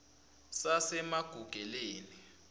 sasemagugeleni